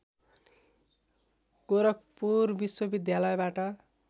गोरखपुर विश्वविद्यालयबाट